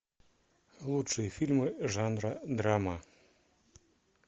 лучшие фильмы жанра драма